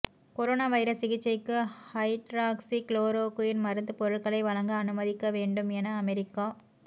corona virus சிகிச்சைக்கு hydroxychloroquine மருந்து பொருட்களை வழங்க அனுமதிக்க வேண்டும் என அமெரிக்க